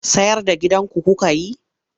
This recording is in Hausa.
Sayar da gidanku kuka yi?